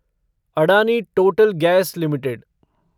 Adani Total Gas limited